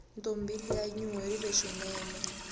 ntombi liya yinuwerile swinene